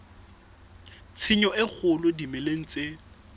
tshenyo e kgolo dimeleng tse